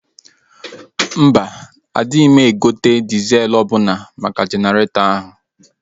Mba, adịma egote dịzel ọbụna maka Jeneretọ ahụ